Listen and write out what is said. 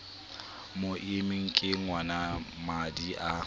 mo immeng ke ngwanamadi a